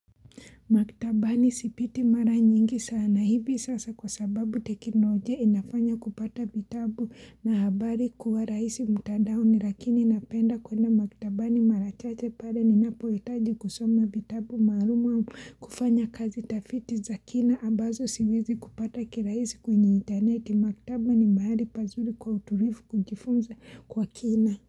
Maktabani sipiti mara nyingi sana hivi sasa kwa sababu tekinojia inafanya kupata vitabu na habari kuwa rahisi mtandaoni lakini napenda kwenda maktaba ni marachache pare ninapoyetaji kusoma vitabu maaluma kufanya kazi tafiti za kina abazo siwezi kupata kirahisi kwenye inteneti. Maktaba ni mahali pazuri kwa uturifu kujifunza kwa kina.